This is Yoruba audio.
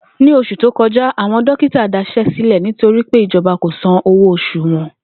Ní os̩ù tó ko̩já, àwo̩n dókítà das̩é̩ sílè̩ nítorí pé ìjo̩ba kò sanwó os̩ù wo̩n